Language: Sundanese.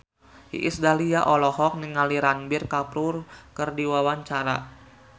Iis Dahlia olohok ningali Ranbir Kapoor keur diwawancara